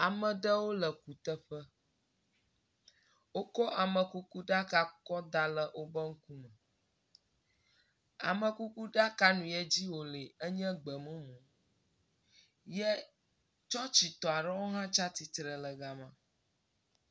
Ame ɖewo le kuteƒe. wokɔ amekuku ɖaka kɔ da le be ŋku me. Amekuku ɖaka nuye dzi wo le enye gbemumu ye tsɔtsitɔ aɖewo hã tsi atsitre ɖe ga ma.